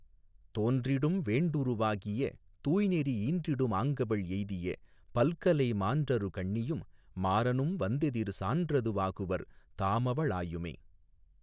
தோன்றிடும் வேண்டுரு வாகிய தூய்நெறி ஈன்றிடு மாங்கவள் ஏய்திய பல்கலை மான்றரு கண்ணியும் மாரனும் வந்தெதிர் சான்றது வாகுவர் தாமவ ளாயுமே.